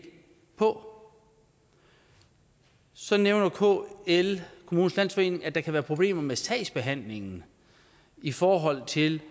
for så nævner kl kommunernes landsforening at der kan være problemer med sagsbehandlingen i forhold til